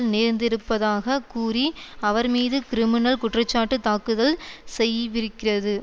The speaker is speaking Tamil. நேர்ந்திருப்பதாக கூறி அவர் மீது கிரிமினல் குற்றச்சாட்டு தாக்குதல் செய்விருக்கிறது